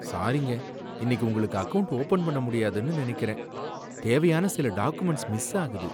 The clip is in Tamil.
சாரிங்க, இன்னிக்கு உங்களுக்கு அக்கவுண்ட் ஓப்பன் பண்ண முடியாதுன்னு நனைக்கிறேன். தேவையான சில டாக்குமெண்ட்ஸ் மிஸ் ஆகுது.